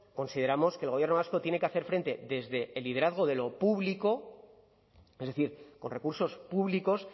consideramos que el gobierno vasco tiene que hacer frente desde el liderazgo de lo público es decir con recursos públicos